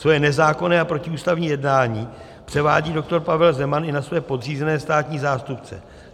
Svoje nezákonné a protiústavní jednání převádí JUDr. Pavel Zeman i na svoje podřízené státní zástupce.